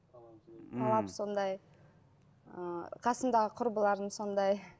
талап сондай ы қасымдағы құрбыларым сондай